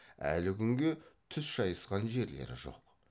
әлі күнге түс шайысқан жерлері жоқ